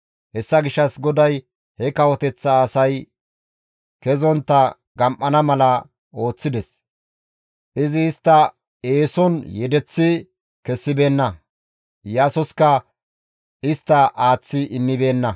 Hessa gishshas GODAY he kawoteththa asay kezontta gam7ana mala ooththides. Izi istta eeson yedeththi kessibeenna; Iyaasoska istta aaththi immibeenna.